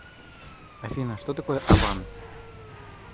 афина что такое аванс